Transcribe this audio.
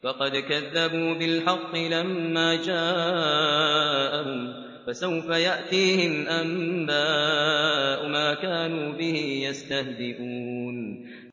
فَقَدْ كَذَّبُوا بِالْحَقِّ لَمَّا جَاءَهُمْ ۖ فَسَوْفَ يَأْتِيهِمْ أَنبَاءُ مَا كَانُوا بِهِ يَسْتَهْزِئُونَ